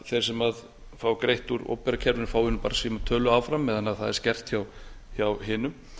þeir sem fá greitt úr opinbera kerfinu fái bara sína tölu áfram meðan það er skert hjá hinum